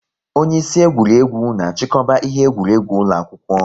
Onye isi egwuregwu na achikọba ihe egwuregwu ụlọ akwụkwọ